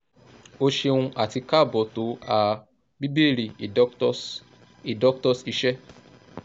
o ṣeun ati kaabo to a "bíbéèrè a doctor's" a doctor's" iṣẹ